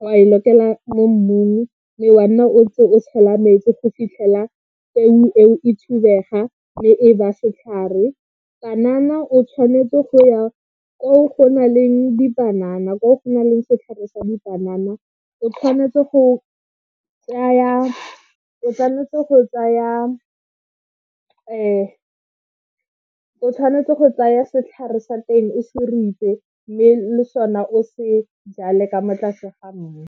wa e lokela mo mmung mme wa nna o tse o tshela metsi go fitlhela peo e thubega mme e ba setlhare. Panana o tshwanetse go ya ko go na leng dipanana ko go na le setlhare sa dipanana. O tshwanetse go tsaya, o tshwanetse go tsaya, o tshwanetse go tsaya setlhare sa teng o se mme le sone o se jale ka mo tlase ga mmu.